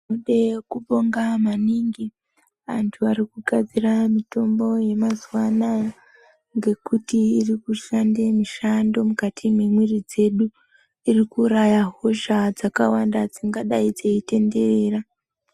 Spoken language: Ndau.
Tinode kubonga maningi antu ari kugadzira mitombo yemazuwa anaya, ngekuti iri kushande mishando mukati memwiiri dzedu. Iri kuuraya hosha dzakawanda dzingadai dzeitenderera.